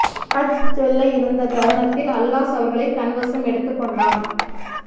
ஹஜ் செல்ல இருந்த இந்த தருணத்தில் அல்லாஹ் அவர்களை தன வசம் எடுத்துக்கொண்டான்